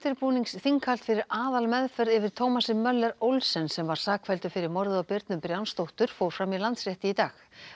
undirbúningsþinghald fyrir aðalmeðferð yfir Thomasi Olsen sem var sakfelldur fyrir morðið á Birnu Brjánsdóttur fór fram í Landsrétti í dag